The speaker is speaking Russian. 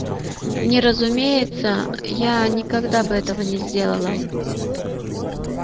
не разумеется я никогда бы этого не сделала